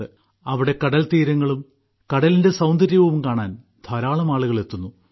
അവിടെ കടൽത്തീരങ്ങളും കടലിന്റെ സൌന്ദര്യവും കാണാൻ ധാരാളം ആളുകൾ എത്തുന്നു